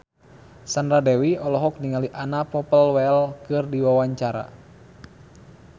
Sandra Dewi olohok ningali Anna Popplewell keur diwawancara